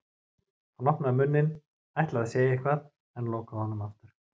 Hann opnaði munninn, ætlaði að segja eitthvað en lokaði honum aftur.